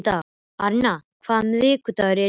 Arína, hvaða vikudagur er í dag?